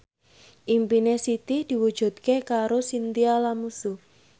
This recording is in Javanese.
impine Siti diwujudke karo Chintya Lamusu